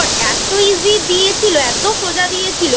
এত Easy দিয়েছিলএত সোজা দিয়েছিল